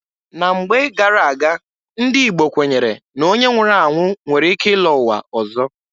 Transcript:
Na mgbe gara-aga, ndị Igbo kwenyere na onye nwụrụ anwụ nwere ike ịlọ ụwa ọzọ.